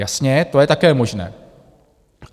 Jasně, to je také možné.